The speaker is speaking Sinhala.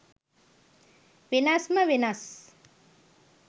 වෙනස්ම වෙනස්.